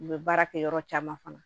U bɛ baara kɛ yɔrɔ caman fana